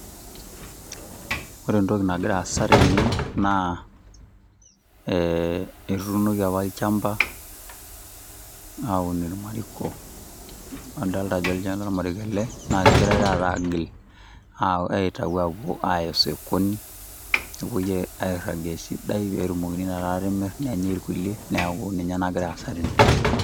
Ore etoki nagira aasa tene naa etuunoki apa olchamba aun irmariko nadolita ajo olchani lormariko ele negirae taata aagil aa agira aapuo aaitayu apuo aya osokoni nepuoi airagie esidai peyie etumokini taata atimir nenyae irkulie neaku naagira aasa tene.